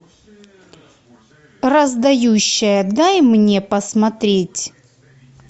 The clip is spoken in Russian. раздающая дай мне посмотреть